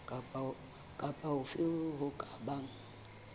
kapa hofe ho ka bang